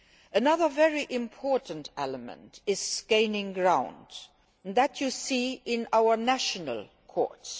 Another very important element is gaining ground, and this can be seen in our national courts.